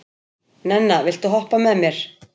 Nenna, viltu hoppa með mér?